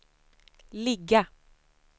ligga